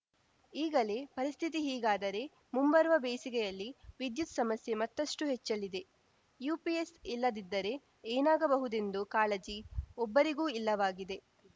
ಈಗಲೇ ಪರಿಸ್ಥಿತಿ ಹೀಗಾದರೆ ಮುಂಬರುವ ಬೇಸಿಗೆಯಲ್ಲಿ ವಿದ್ಯುತ್‌ ಸಮಸ್ಯೆ ಮತ್ತಷ್ಟುಹೆಚ್ಚಲಿದೆ ಯುಪಿಎಸ್‌ ಇಲ್ಲದಿದ್ದರೆ ಏನಾಗಬಹುದೆಂದು ಕಾಳಜಿ ಒಬ್ಬರಿಗೂ ಇಲ್ಲವಾಗಿದೆ